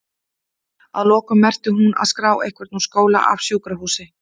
Að lokum merkir hún að?skrá einhvern úr skóla, af sjúkrahúsi?